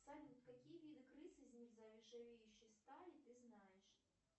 салют какие виды крыс из нержавеющей стали ты знаешь